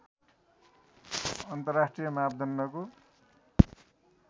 अन्तर्राष्ट्रिय मापदण्डको